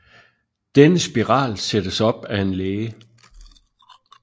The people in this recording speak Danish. Denne spiral sættes op af en læge